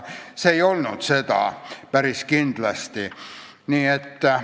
See ei olnud päris kindlasti see.